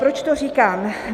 Proč to říkám?